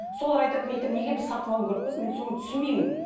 солар айтады мен айтамын неге біз сатып алуым керекпіз мен соны түсінбеймін